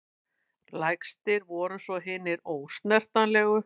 Lægstir voru svo hinir ósnertanlegu.